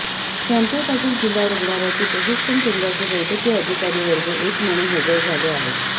केम्पे पाटील जिल्हा रुग्णालयातील प्रशिक्षण केंद्राचे वैद्यकीय अधिकारी वर्ग एक म्हणून हजर झाले आहेत